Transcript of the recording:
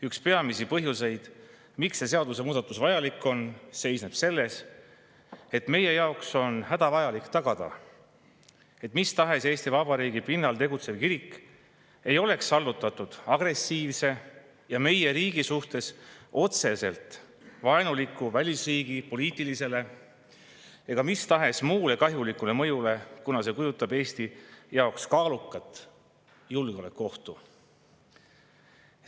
Üks peamisi põhjuseid, miks see seadusemuudatus vajalik on, seisneb selles, et on hädavajalik tagada, et mis tahes Eesti Vabariigi pinnal tegutsev kirik ei oleks allutatud agressiivse ja meie riigi suhtes otseselt vaenuliku välisriigi poliitilisele ega mis tahes muule kahjulikule mõjule, kuna see kujutab Eesti jaoks kaalukat julgeolekuohtu.